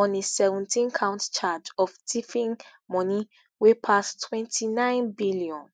on a seventeencount charge of tiffing money wey pass ntwenty-nine billion